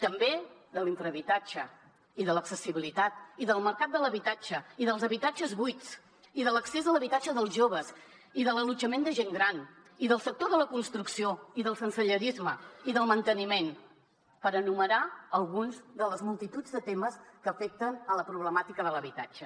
també l’infrahabitatge i l’accessibilitat i el mercat de l’habitatge i els habitatges buits i l’accés a l’habitatge dels joves i l’allotjament de gent gran i el sector de la construcció i el sensellarisme i el manteniment per enumerar alguns de la multitud de temes que afecten la problemàtica de l’habitatge